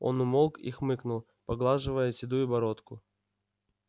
он умолк и хмыкнул поглаживая седую бородку